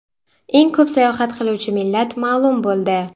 Eng ko‘p sayohat qiluvchi millat ma’lum bo‘ldi.